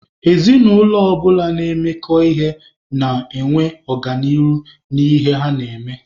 Ezinụlọ ọbụla na-emekọ ihe na-enwe ọganihu n'ihe ha na-eme.